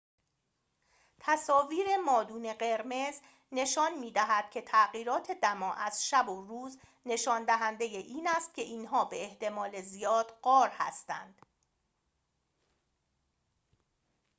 تصاویر مادون قرمز نشان می‌دهد که تغییرات دما از شب و روز نشان دهنده این است که اینها به احتمال زیاد غار هستند